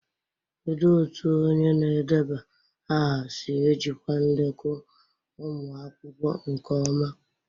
Kedu otu onye na-edeba aha si ejikwa ndekọ ụmụ akwụkwọ nke ọma?